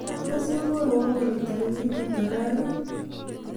tos imwowon kole tagigit ata raa ii